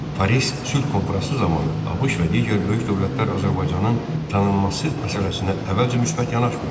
Paris Sülh Konfransı zamanı ABŞ və digər böyük dövlətlər Azərbaycanın tanınması məsələsinə əvvəlcə müsbət yanaşmırdı.